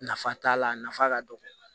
Nafa t'a la a nafa ka dɔgɔ